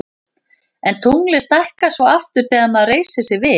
en tunglið stækkar svo aftur þegar maður reisir sig við